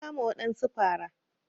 Na kama wadansu fara.